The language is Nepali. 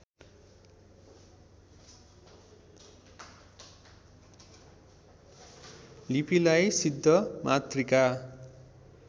लिपिलाई सिद्धमातृका